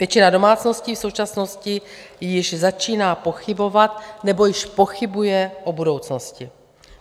Většina domácností v současnosti již začíná pochybovat nebo již pochybuje o budoucnosti.